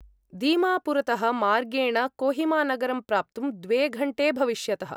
दीमापुरतः मार्गेण कोहिमानगरं प्राप्तुं द्वे घण्टे भविष्यतः।